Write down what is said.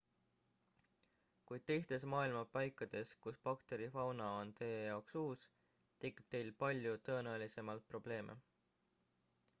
kuid teistes maailma paikades kus bakterifauna on teie jaoks uus tekib teil palju tõenäolisemalt probleeme